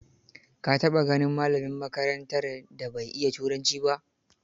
Ka taɓa ganin malamin makarantar da bai iya turanci ba?